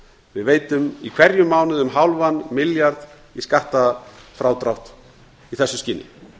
við veitum í hverjum mánuði um hálfan milljarð í skattfrádrátt í þessu skyni